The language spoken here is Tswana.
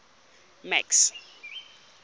max